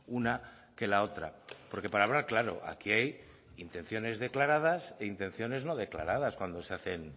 una que la otra porque para hablar claro aquí hay intenciones declaradas e intenciones no declaradas cuando se hacen